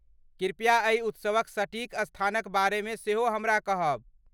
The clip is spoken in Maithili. कृप्या एहि उत्सवक सटीक स्थानक बारेमे सेहो हमरा कहब।